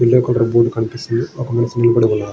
Yellow colour board కనిపిస్తుంది. ]